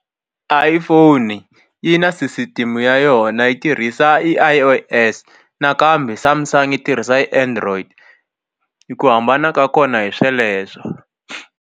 Iphone yi na sisitimu ya yona yi tirhisa i I_O_S nakambe Samsung yi tirhisa android i ku hambana ka kona hi sweleswo.